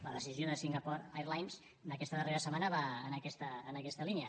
la decisió de singapore airlines d’aquesta darrera setmana va en aquesta línia